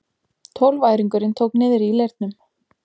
Tólfæringurinn tók niðri í leirnum.